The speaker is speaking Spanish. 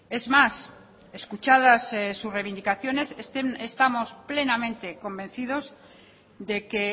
es más escuchadas su reivindicaciones estamos plenamente convencidos de que